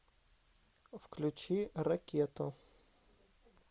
включи ракету